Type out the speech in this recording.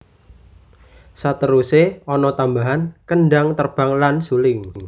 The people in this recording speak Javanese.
Saterusé ana tambahan kendhang terbang lan suling